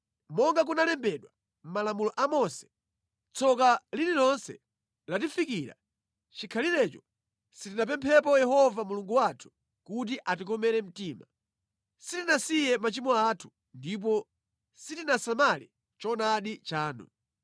Monga kunalembedwa mʼMalamulo a Mose, tsoka lililonse latifikira chikhalirecho sitinapemphe Yehova Mulungu wathu kuti atikomere mtima. Sitinasiye machimo athu, ndipo sitinasamale choonadi chanu.